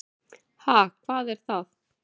Ha, hvað er það.